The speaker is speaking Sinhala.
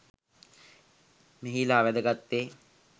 මෙහිලා වැදගත් වේ.